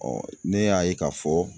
ne y'a ye k'a fɔ